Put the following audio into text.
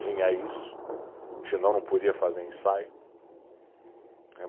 Tinha isso, senão não podia fazer ensaio. Eh